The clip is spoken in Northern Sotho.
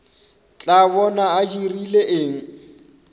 tla bona a dirile eng